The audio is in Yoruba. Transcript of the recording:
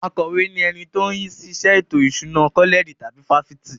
Akọ̀we ni ẹni tó ń rí sí iṣẹ́ ètò ìṣúná kọ́lẹ̀jì tàbí fáfitì.